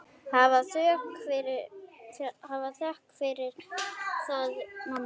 Hafðu þökk fyrir það, mamma.